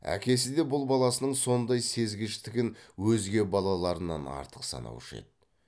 әкесі де бұл баласының сондай сезгіштігін өзге баларынан артық санаушы еді